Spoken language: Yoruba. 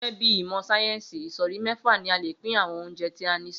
Gé̩gé̩ bí ìmò̩ sáyé̩ńsì, ìsò̩rí mé̩fà ni a lè pín àwo̩n oúnje̩ tí a ní sí